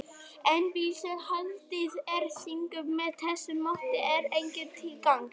En bíll, sem haldið er síungum með þessu móti, er engum til gagns.